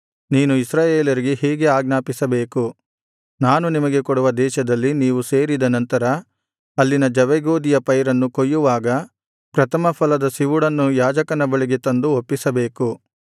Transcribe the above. ನೀನು ಇಸ್ರಾಯೇಲರಿಗೆ ಹೀಗೆ ಆಜ್ಞಾಪಿಸಬೇಕು ನಾನು ನಿಮಗೆ ಕೊಡುವ ದೇಶದಲ್ಲಿ ನೀವು ಸೇರಿದ ನಂತರ ಅಲ್ಲಿನ ಜವೆಗೋದಿಯ ಪೈರನ್ನು ಕೊಯ್ಯುವಾಗ ಪ್ರಥಮಫಲದ ಸಿವುಡನ್ನು ಯಾಜಕನ ಬಳಿಗೆ ತಂದು ಒಪ್ಪಿಸಬೇಕು